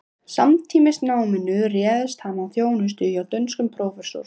Samtímis náminu réðst hann í þjónustu hjá dönskum prófessor